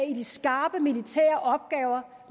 i de skarpe militære opgaver